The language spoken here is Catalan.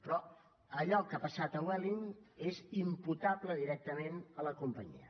però allò que ha passat a vueling és imputable directament a la companyia